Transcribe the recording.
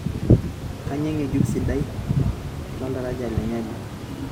kainyoo engejuk sidai le oldaraja le nyali